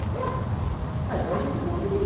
Aí ele falou, uai vai junto comigo.